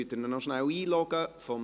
Könnten Sie ihn noch kurz einloggen?